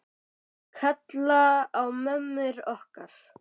Kalla á mömmur okkar?